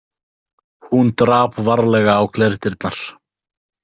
Hún drap varlega á glerdyrnar.